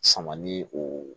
Sama ni o